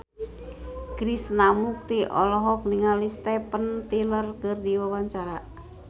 Krishna Mukti olohok ningali Steven Tyler keur diwawancara